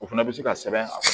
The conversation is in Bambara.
O fana bɛ se ka sɛbɛn a kan